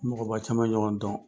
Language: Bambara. Mɔgɔba caman ye ɲɔgɔn dɔn.